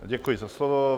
Děkuji za slovo.